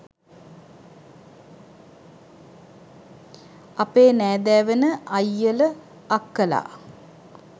අපේ නෑදෑ වෙන අයියල අක්කලා